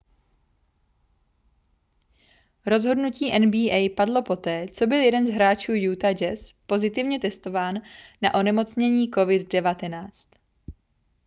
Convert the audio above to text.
rozhodnutí nba padlo poté co byl jeden z hráčů utah jazz pozitivně testován na onemocnění covid-19